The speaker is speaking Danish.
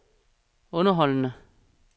underholdende